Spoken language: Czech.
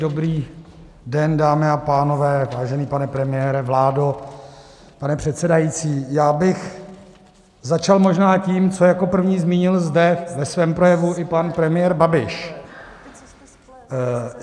Dobrý den, dámy a pánové, vážený pane premiére, vládo, pane předsedající, já bych začal možná tím, co jako první zmínil zde ve svém projevu i pan premiér Babiš.